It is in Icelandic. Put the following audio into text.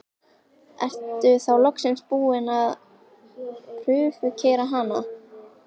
Ertu þá loksins búinn að prufukeyra hana?